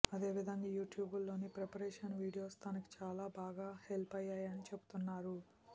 అదే విధంగా యూట్యూబ్లోని ప్రిపరేషన్ వీడియోస్ తనకి చాలా బాగా హెల్ప్ అయ్యాయని చెబుతున్నారు